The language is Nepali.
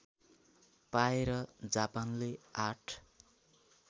पाएर जापानले ८